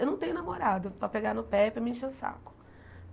Eu não tenho namorado para pegar no pé, para me encher o saco.